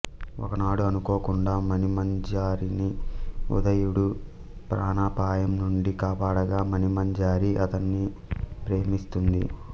ఒకనాడు అనుకోకుండా మణిమంజరిని ఉదయుడు ప్రాణాపాయం నుండి కాపాడగా మణిమంజరి అతడిని ప్రేమిస్త్తుంది